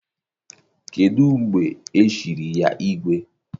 Kedụ mgbe e chiri ya gị igwe?